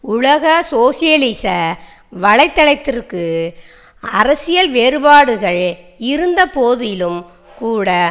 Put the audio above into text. உலக சோசியலிச வலை தளத்திற்கு அரசியல் வேறுபாடுகள் இருந்த போதிலும்கூட